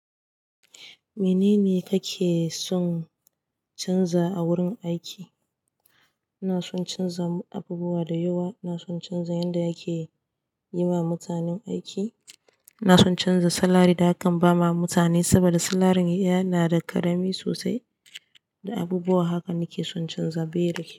Menene kake son canza a wurin aiki? Ina son canza abubuwa da yawa. Ina son canza yanda ake yiwa mutanen aiki. Ina son canza salary da akan ba ma mutane, saboda salaryn yana da ƙarami sosai. Da abubuwa hakan nake son canza, bai da kyau.